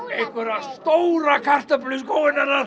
stóra kartöflu í skóinn hennar